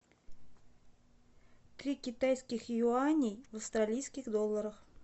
три китайских юаней в австралийских долларах